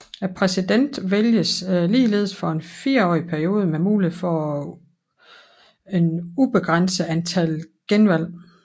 Præsidenten vælges ligeledes for en fireårig periode med mulighed for et ubegrænset antal genvalg